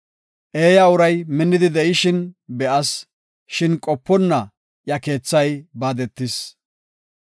Eeya uray minnidi de7ishin be7as; shin qoponna iya keethay baadetis.